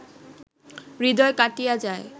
হৃদয় কাটিয়া যায়